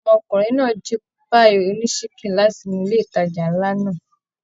Ọmọkùnrin náà jí páíì ònísikin láti inú ilé ìtajà nlá náà.